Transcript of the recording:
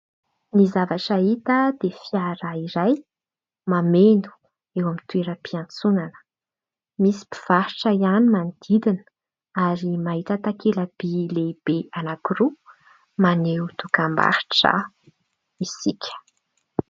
Ny zavatra hita dia fiara iray mameno eo amin'ny toeram-piantsonana. Misy mpivarotra ihany manodidina ary mahita takela-by lehibe anakiroa maneho dokam-barotra isika.